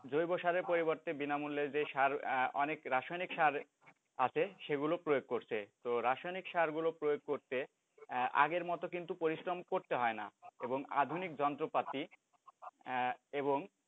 জৈব সারের পরিবর্তে বিনামূল্যে যে সার অনেক রাসায়নিক সার আছে সেগুলো প্রয়োগ করছে, তো রাসায়নিক সারগুলো প্রয়োগ করতে আগের মতো কিন্তু পরিশ্রম করতে হয়না এবং আধুনিক যন্ত্রপাতি এবং,